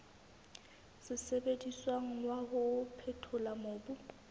sebediswang wa ho phethola mobu